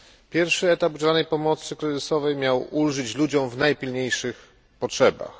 Pierwszy etap udzielanej pomocy kryzysowej miał ulżyć ludziom w najpilniejszych potrzebach.